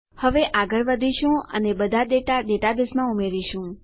હવે આગળ વધીશું અને બધા ડેટા ડેટાબેઝમાં ઉમેરીશું